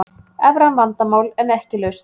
Evran vandamál en ekki lausn